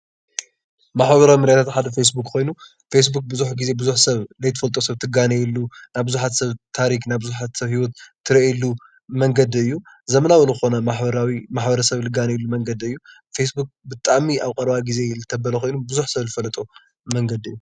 ማሕበራዊ ሚድያ ሓደ ፌስቡክ ኮይኑ ፌስቡክ ብዙሕ ዘይትፈልጦ ብዙሕ ሰብ ትጋነየሉ ምስ ቡዝሕ ሰብ ትጋነየሉ ናይ ብዙሓት ሰብ ቡዝሕ ስራሕቲ ትሪኤሉ መንገዲ እዩ። ስለዚ ወቅታዊ ዝኾነ መንገዲ መሕበራዊ መንገዲ እዩ። ፌስቡክ ብጣዕሚ ኣብ ቀረባ ግዜ ዝተበለ ኾይኑ ቡዝሕ ሰብ ዝፈለጦ መንገዲ እዩ።